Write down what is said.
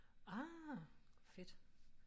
Ah fedt